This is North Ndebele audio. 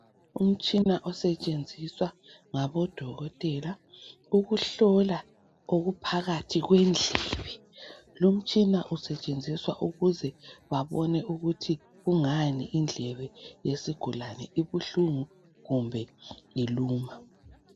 umtshina osetshenziswa ngabodokotela ukuhlola okuphakathi kwendlebe lomtshina usetshenziswa ukuze babone ukuthi kungani indlebe yesigulane ibuhlungu kumbe iluma